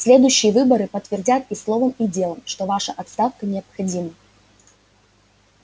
следующие выборы подтвердят и словом и делом что ваша отставка необходима